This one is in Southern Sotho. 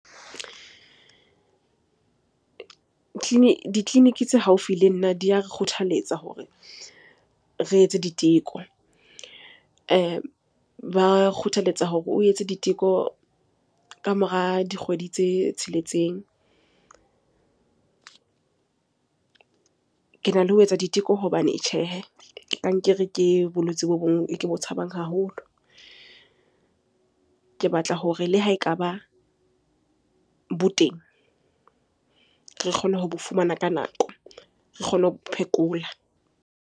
Ditleliniki tse haufi le nna di a re kgothaletsa hore re etse diteko. Ba kgothaletsa hore o etse diteko kamora dikgwedi tse tsheletseng. Kena le ho etsa diteko hobane tjhehe, kankere ke bolwetse bo bong e ke bo tshabang haholo. Ke batla hore le ha ekaba bo teng, re kgone ho bo fumana ka nako, re kgone ho bo phekola.